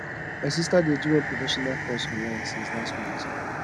my sister dey do one professional course online since last month